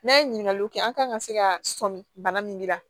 N'a ye ɲiniŋaliw kɛ an kan ka se ka sɔmin bana min jira